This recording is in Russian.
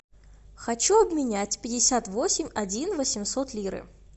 хочу обменять пятьдесят восемь один восемьсот лиры